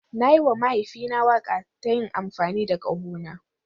Na yi wa mahaifina waƙa ta yin amfani da ƙahona.